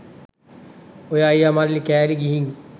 ඔය අයියා මල්ලී කෑලි ගිහින්